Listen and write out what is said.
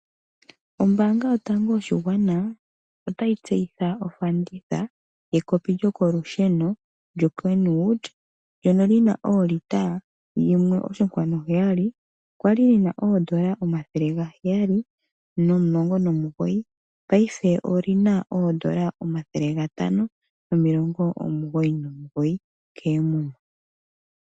Ombaanga yotango yoshigwana otayi tseyitha ekopi lyo kolusheno lyoKenwood lyono lina olita 1.7, kwali lina N$719 paife olina N$599 koomuma.